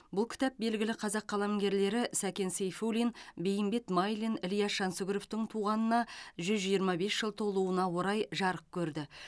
бұл кітап белгілі қазақ қаламгерлері сәкен сейфуллин бейімбет майлин ілияс жансүгіровтың туғанына жүз жиырма бес жыл толуына орай жарық көрді